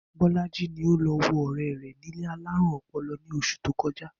Bó̩lájí ni ó lo̩ wo ò̩ré̩ rè̩ ní ilé alárùn o̩po̩lo̩ ní os̩ù tó ko̩já